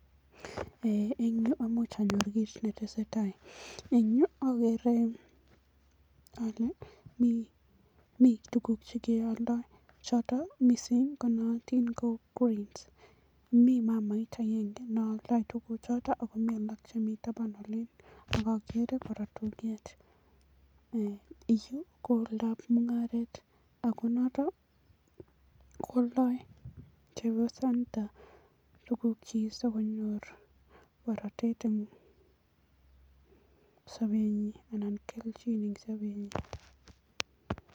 Eng yu, komuch aaror kiit ne tesetai, eng yu ageere ale mi tuguk che kealdai choto konaatin mising kou coils, mi mamait agenge ne aldai tuguchuto akomi alak chemi taban olin ak ageere kora tulwet. Yu koaldai mungaret ako noto kwaldai chepyosanito tugukchi sikonyor boratet eng sobenyin anan kelchin eng sobenyin.